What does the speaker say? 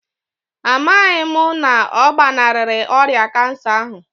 A maghị m na ọ gbanarịrị ọrịa kansa ahụ